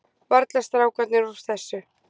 Varla strákarnir úr þessu.